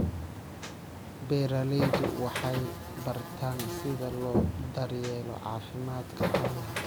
Beeraleydu waxay bartaan sida loo daryeelo caafimaadka xoolaha.